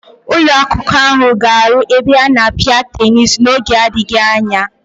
Ụlọakwụkwọ ahụ ga-aru ebe a na-apịa tenis n'oge adịghị anya.